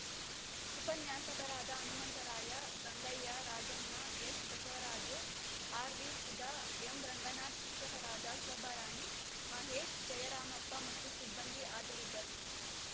ಉಪನ್ಯಾಸಕರಾದ ಹನುಮಂತರಾಯ ಗಂಗಯ್ಯ ರಾಜಣ್ಣ ಎಸ್‌ಬಸವರಾಜು ಆರ್‌ವಿಸುಧಾ ಎಂರಂಗನಾಥ್‌ ಶಿಕ್ಷಕರಾದ ಶೋಭಾರಾಣಿ ಮಹೇಶ್‌ ಜಯರಾಮಪ್ಪ ಮತ್ತು ಸಿಬ್ಬಂದಿ ಹಾಜರಿದ್ದರು